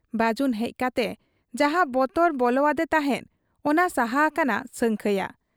ᱵᱟᱹᱡᱩᱱ ᱦᱮᱡ ᱠᱟᱛᱮ ᱡᱟᱦᱟᱸ ᱵᱚᱛᱚᱨ ᱵᱚᱞᱚᱣᱟᱫᱮ ᱛᱟᱦᱮᱸᱫ, ᱚᱱᱟ ᱥᱟᱦᱟ ᱟᱠᱟᱱᱟ ᱥᱟᱹᱝᱠᱷᱟᱹᱭᱟᱜ ᱾